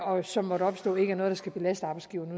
og som måtte opstå ikke er noget der skal belaste arbejdsgiveren